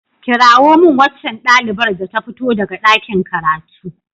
Kirawo min waccan ɗalibar da ta fito daga ɗakin karatu.